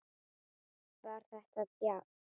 Var þetta djass?